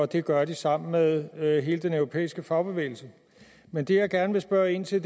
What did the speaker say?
det gør de sammen med med hele den europæiske fagbevægelse men det jeg gerne vil spørge ind til